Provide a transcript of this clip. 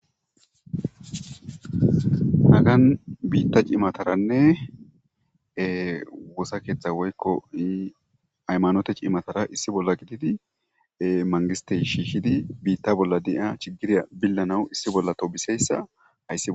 Hagaan bitta cimatataranee e wosaketha woyiko hayimanote cimatara issi bolla shishidi bita bolladay metowu bishanawunee issi bolla tobiseyisa hayis